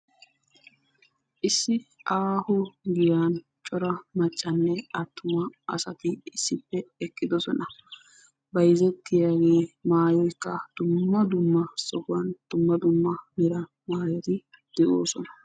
issi aaho giyaan cora maccanne attuma asati issippe eqqidoossona bayzzetiyaage maayoykka dumma dumma sohuwan dumma dumma mera maayoti de'oossona.